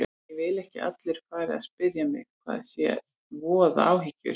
Ég vil ekki að allir fari að spyrja mig hvað sé að og voða áhyggjur.